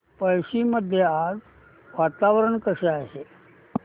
पळशी मध्ये आज वातावरण कसे आहे